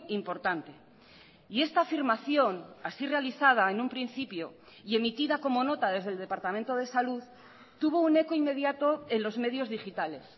importante y esta afirmación así realizada en un principio y emitida como nota desde el departamento de salud tuvo un eco inmediato en los medios digitales